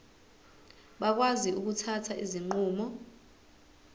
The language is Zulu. bakwazi ukuthatha izinqumo